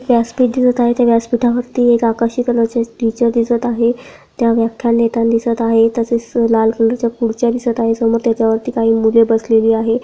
व्यासपीठ दिसत आहे त्या व्यासपीठावरती एक आकाशी कलर चे टीचर दिसत आहे त्या व्याख्यान घेताना दिसत आहेत तसेच लाल कलर चे खुर्च्या दिसत आहेत समोर त्याच्यावरती काही मुले बसलेली आहे.